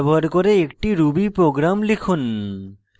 ব্যবহার করে একটি ruby program লিখুন